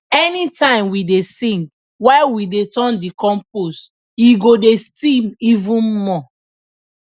anytime we dey sing while we dey turn the compost e go dey steam even more